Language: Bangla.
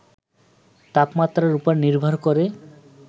তাপমাত্রার উপর নির্ভর করে